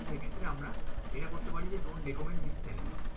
সেক্ষেত্রে আমরা এটা করতে পারি যে do not recommend this channel.